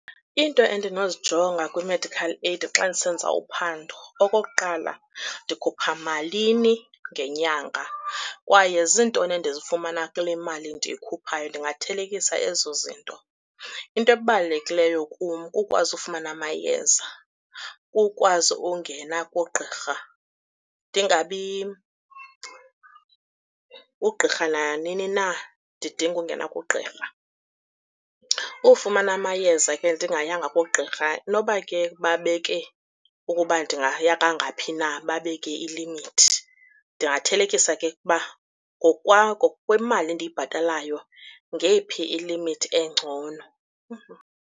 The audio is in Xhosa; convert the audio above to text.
Into endinozijonga kwi-medical aid xa ndisenza uphando, okokuqala ndikhupha malini ngenyanga kwaye ziintoni endizifumana kule mali ndiyikhuphayo, ndingathelekisa ezo zinto. Into ebalulekileyo kum kukwazi ufumana amayeza, kukwazi ungena kugqirha ndingabi, ugqirha nanini na ndidinga ungena kugqirha. Ufumana amayeza ke ndingayanga kugqirha noba ke babeke ukuba ndingaya kangaphi na, babeke ilimithi. Ndingathelekisa ke ukuba ngokwemali endiyibhatalayo ngeyiphi ilimithi engcono.